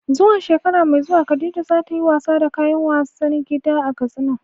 Zuwa shekara mai zuwa Khadija za ta yi wasa da kayan wasan gida a Katsina.